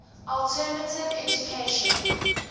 alternative education